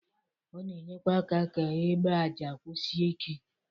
Ọ na-enyekwa aka ka egbe aja kwusie ike.